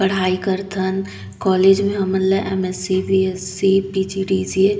पढाई करथन कॉलेज मे हमन M S C B S C P G D C ए